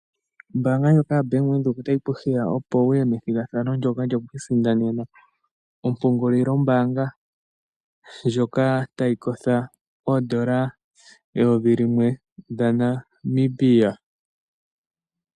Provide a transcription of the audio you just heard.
Ombaanga ndjoka ya Venduka otayi ku opo wuye methigathano ndoka lyoku isindanena ompungulilo mbaanga ndjoka tayi kotha oondola eyovi limwe lya Namibia.